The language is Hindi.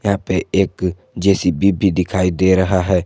यहां पे एक जे_सी_बी भी दिखाई दे रहा है।